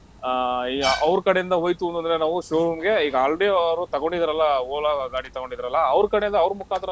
ಆ ಈಗ ಅವ್ರ್ ಕಡೆಯಿಂದ ಹೋಯ್ತು ಅಂದ್ರೆ ನಾವು showroom ಗೆ ಈಗ already ಅವ್ರು ತಗೊಂಡಿದ್ದಾರಲ್ಲ Ola ಗಾಡಿ ತಗೊಂಡಿದ್ರಲ್ಲ ಅವ್ರ್ ಕಡೆ ಯಿಂದ ಅವ್ರ್ ಮುಖಾಂತರ.